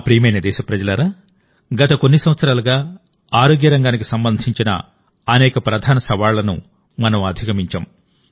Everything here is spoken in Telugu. నా ప్రియమైన దేశప్రజలారాగత కొన్ని సంవత్సరాలుగా ఆరోగ్య రంగానికి సంబంధించిన అనేక ప్రధాన సవాళ్లను మనం అధిగమించాం